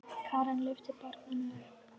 Karen lyftir barninu upp.